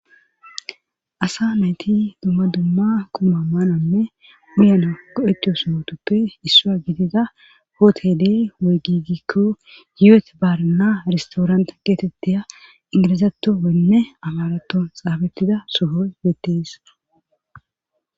asa nayti dumma dumma quma maananne uyana koetiyosohotuppe issua gidida hootede wey gigikko yu7et baarna ristooranta geetetteya ingilizato wenne amarato xaabettida sohoy deettees